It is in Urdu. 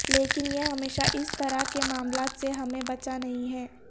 لیکن یہ ہمیشہ اس طرح کے معاملات سے ہمیں بچا نہیں ہے